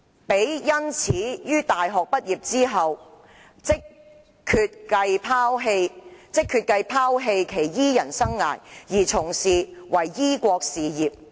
彼因此於大學畢業之後，即決計拋棄其醫人生涯，而從事於醫國事業。